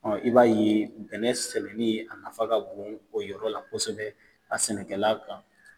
I b'a ye bɛnnɛ sɛbɛnni ye, a nafa ka bon o yɔrɔ la kosɛbɛ a sɛnɛkɛlan kan.